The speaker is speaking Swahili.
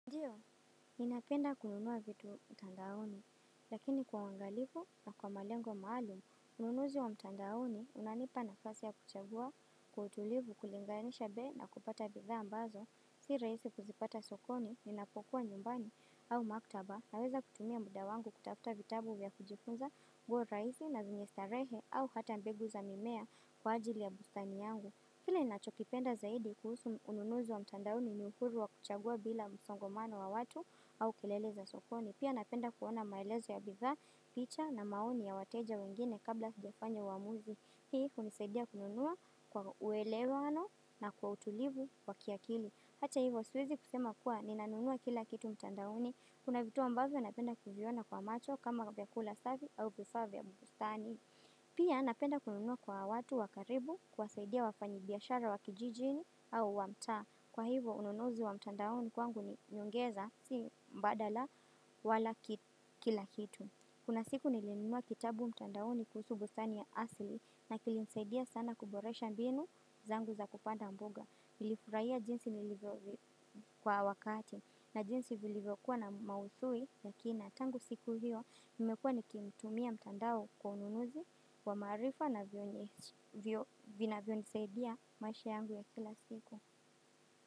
Ndio. Ninapenda kununua vitu mtandaoni, lakini kwa uangalifu na kwa malengo maalum, ununuzi wa mtandaoni unanipa nafasi ya kuchagua, kwa utulivu kulinganisha bei na kupata bidhaa ambazo, si rahisi kuzipata sokoni, ninapokuwa nyumbani au maktaba naweza kutumia muda wangu kutafuta vitabu vya kujifunza, nguo rahisi na zenye starehe au hata mbegu za mimea kwa ajili ya bustani yangu. Kile ninachokipenda zaidi kuhusu ununuzi wa mtandaoni ni uhurilu wa kuchagua bila msongamano wa watu au kelele za sokoni. Pia napenda kuona maelezo ya bidhaa, picha na maoni ya wateja wengine kabla sijafanya uamuzi. Hii hunisaidia kununua kwa uelewano na kwa utulivu wa kiakili. Hata hivyo siwezi kusema kuwa ninanunua kila kitu mtandaoni. Kuna vitu ambavyo napenda kiviona kwa macho kama kama vyakula safi au vifaa vya bustani. Pia napenda kununua kwa watu wa karibu kuwasaidia wafanyi biashara wa kijiji au wa mtaa kwa hivo ununuzi wa mtandaoni kwangu ni hongera si mbadala wala kila kitu kuna aiku nilinunua kitqbu mtandaoni kuhusu bustani ya asili kilinisaidia sana kuboresha mbinu zangu za kupanda mboga nilifurahia jinsi kwa wakati na jinsi vilivyo kuwa na maudhui. Lakina tangu siku hiyo nimekuwa nikimtumia mtandao kwa ununuzi wa marifa na vinavyonisaidia maisha yangu ya kila siku.